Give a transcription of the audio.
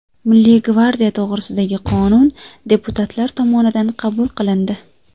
Milliy gvardiya to‘g‘risidagi qonun deputatlar tomonidan qabul qilindi.